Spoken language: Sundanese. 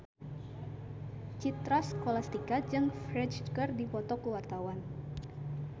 Citra Scholastika jeung Ferdge keur dipoto ku wartawan